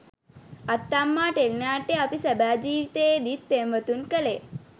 අත්තම්මා ටෙලිනාට්‍යය අපි සැබෑ ජීවිතයේත් පෙම්වතුන් කළේ